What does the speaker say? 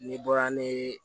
Ne bɔra ne